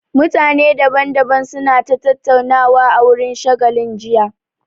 Mutane daban daban su na ta tattaunawa a wurin shagalin jiya